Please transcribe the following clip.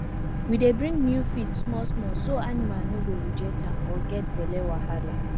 we dey bring new feed smallsmall so animal no go reject am or get belle wahala